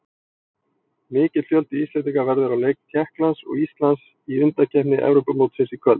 Mikill fjöldi Íslendinga verður á leik Tékklands og Íslands í undankeppni Evrópumótsins í kvöld.